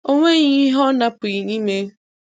O nweghị ihe ọ na-apụghị ime